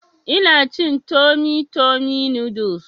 Ina cin tummy tummy noodles